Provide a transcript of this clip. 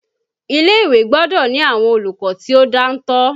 Ilé-ìwé gbọ́dọ̀ ni àwọn olùkọ́ tí ó dáńtọ́